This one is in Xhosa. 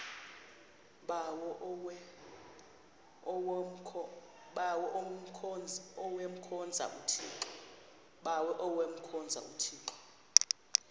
bawo avemkhonza uthixo